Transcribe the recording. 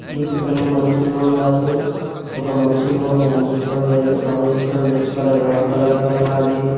ఈ చిత్రంలో మనసులో ఉన్నారు ఒక మనిషి ముఖం కనిపించడం లేదు ఆమె వేసుకున్న కలర్ వైట్ కలర్ లో ఉన్నది.